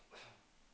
fjern